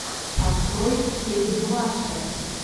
открой кейт бланшетт